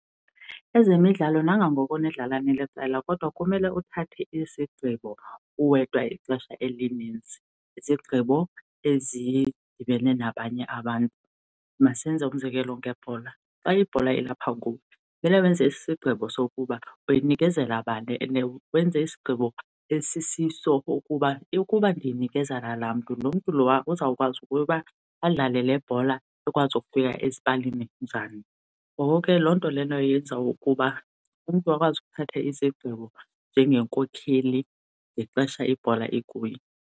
Ezemidlalo nangangoko nindlala niliqela kodwa kumele uthathe isigqibo uwedwa ixesha elininzi, izigqibo ezidibene nabanye abantu. Masenze umzekelo ngebhola, xa ibhola ilapha kuwe kumele wenze isigqibo sokuba uyinikezela bani and wenze isigqibo esisiso ukuba ndiyinikezela laa mntu, lo mntu lowa uzawukwazi ukuba adlale le bhola ikwazi ukufika ezipalini njani. Ngoko ke loo nto leyo yenza ukuba umntu akwazi ukuthatha isigqibo njengenkokheli ngexesha ibhola ikuye.